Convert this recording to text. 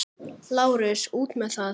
LÁRUS: Út með það!